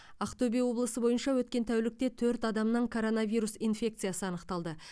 ақтөбе облысы бойынша өткен тәулікте төрт адамнан коронавирус инфекциясы анықталды